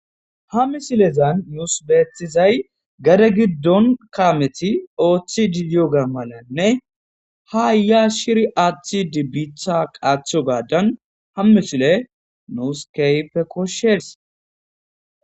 ha missilezan nuus beetizay gade giddon kaameti ooththidi diyoga malanne ha yaya shirri aththidi biitha qaathogaaddan ha mishileyi nuus kehippe koshshes.